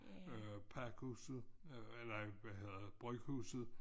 Øh Pakhuset øh eller nej hvad hedder det Bryghuset